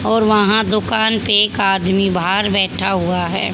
और वहां दुकान पे एक आदमी बाहर बैठा हुआ है।